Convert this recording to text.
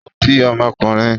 Ó bí ọmọkùnrin?